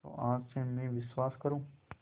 तो आज से मैं विश्वास करूँ